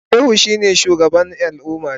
Shehu shine shugaban al'ummata.